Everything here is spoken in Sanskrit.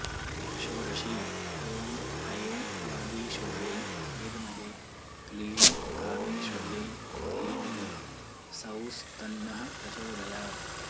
षोडशी ॐ ऐं वागीश्वर्यै विद्महे क्लीं कामेश्वर्यै धीमहि सौस्तन्नः प्रचोदयात्